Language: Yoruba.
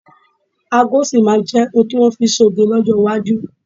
Ago sì máa jẹ ohun ti wọn fi ń ṣe oge ní ọjọ́ Iwájú